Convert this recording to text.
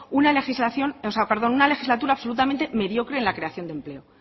una legislatura absolutamente mediocre en la creación de empleo